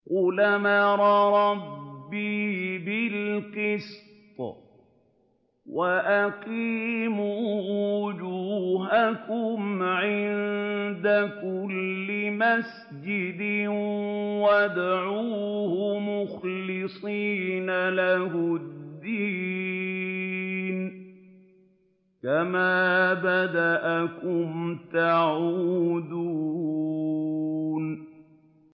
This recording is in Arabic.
قُلْ أَمَرَ رَبِّي بِالْقِسْطِ ۖ وَأَقِيمُوا وُجُوهَكُمْ عِندَ كُلِّ مَسْجِدٍ وَادْعُوهُ مُخْلِصِينَ لَهُ الدِّينَ ۚ كَمَا بَدَأَكُمْ تَعُودُونَ